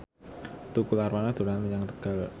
Tukul Arwana dolan menyang Tegal